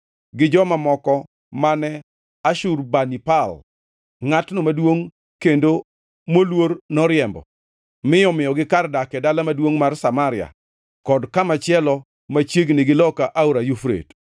gi joma moko mane Ashurbanipal, ngʼatno maduongʼ kendo moluor noriembo, mi omiyogi kar dak e dala maduongʼ mar Samaria kod kamachielo machiegni gi loka Aora Yufrate.